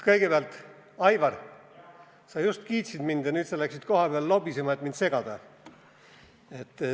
Kõigepealt, Aivar, sa just kiitsid mind, aga nüüd läksid kohapeale lobisema, et mind segada.